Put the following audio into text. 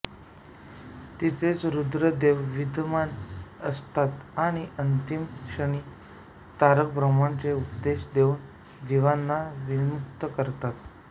तिथेच रूद्रदेव विद्यमान असतात आणि अंतिम क्षणी तारक ब्रह्माचा उपदेश देऊन जिवांना विमुक्त करतात